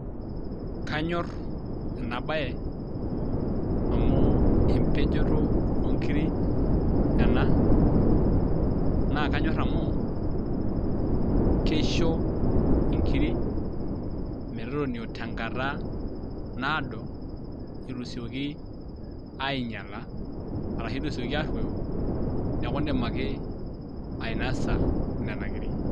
Kanyorr ena baye amu empejoto oonkiri ena naa kanyorr amu keisho inkiri metotonio tenkata naado eitu esioki ainyala arashu etu esiaki arruoyo neaku indim ake ainosa nena kiri.